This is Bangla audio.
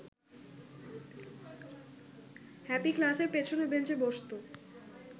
হ্যাপি ক্লাসের পেছনের বেঞ্চে বসতো